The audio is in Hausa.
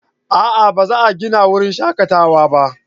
A'a ba za a gina wurin shakatawa ba